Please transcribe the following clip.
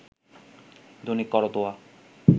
Dainik Karatoya